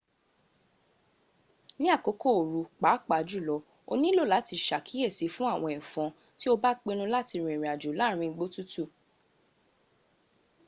ni akoko oru paapajulo o nilo lati se akiyesi fun awon efon ti o ba pinnu lati rin irinajo laarin igbo tutu